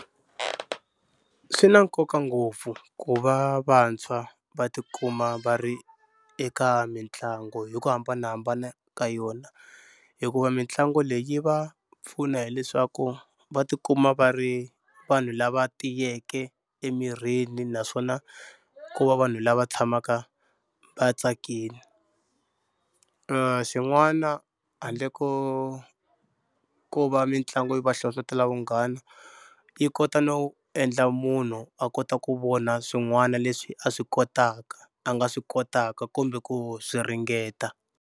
Swi na nkoka ngopfu ku va vantshwa va tikuma va ri eka mitlangu hi ku hambanahambana ka yona hikuva mitlangu leyi va pfuna hileswaku va tikuma va ri vanhu lava tiyeke emirini naswona ku va vanhu lava tshamaka vatsakini. Xin'wana handle ko ko va mitlangu yi va hlohlotelo vunghana yi kota no endla munhu a kota ku vona swin'wana leswi a swi kotaka a nga swi kotaka kumbe ku swi ringeta.